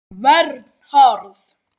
Vernharð